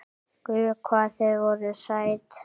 Guð hvað þið voruð sæt!